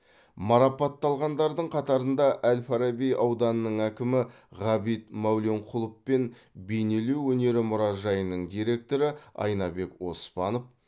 марапатталғандардың қатарында әл фараби ауданының әкімі ғабит мәуленқұлов пен бейнелеу өнері мұражайының директоры айнабек оспанов